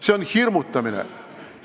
See on hirmutamine.